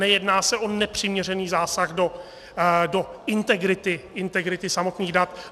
Nejedná se o nepřiměřený zásah do integrity samotných dat.